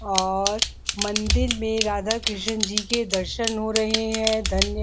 और मंदिर में राधा कृष्ण जी के दर्शन हो रहे है। धन्य --